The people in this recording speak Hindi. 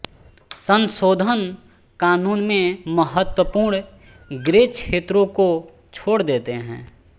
संशोधन कानून में महत्वपूर्ण ग्रे क्षेत्रों को छोड़ देते हैं